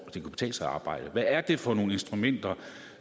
det kan betale sig at arbejde hvad er det for nogle instrumenter